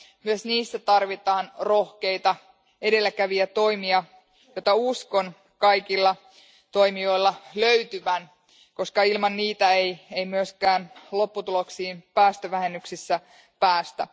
Myös niissä tarvitaan rohkeita edelläkävijätoimia, joita uskon kaikilla toimijoilla löytyvän, koska ilman niitä ei myöskään lopputuloksiin päästövähennyksissä päästä.